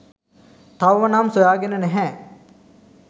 තවම නම් සොයාගෙන නැහැ.